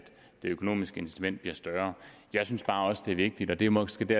det økonomiske incitament bliver større jeg synes også det er vigtigt og det er måske det